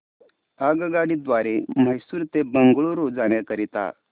आगगाडी द्वारे मैसूर ते बंगळुरू जाण्या करीता